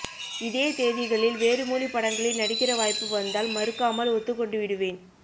இதே தேதிகளில் வேறு மொழிப் படங்களில் நடிக்கிற வாய்ப்பு வந்தால் மறுக்காமல் ஒத்துக் கொண்டுவிடுவேன்